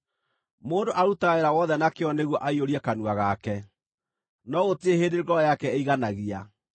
Mũndũ arutaga wĩra wothe na kĩyo nĩguo aiyũrie kanua gake, no gũtirĩ hĩndĩ ngoro yake ĩiganagia.